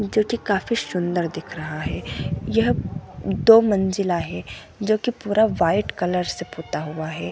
--जोकि काफी सुन्दर दिख रहा है यह दो मज़िला है जोकि पूरा वाइट कलर से पुता हुआ है।